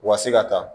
U ka se ka taa